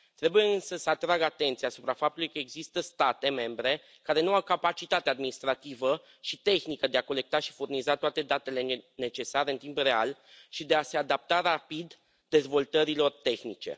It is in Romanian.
Trebuie, însă, să atrag atenția asupra faptului că există state membre care nu au capacitatea administrativă și tehnică de a colecta și furniza toate datele necesare în timp real și de a se adapta rapid dezvoltărilor tehnice.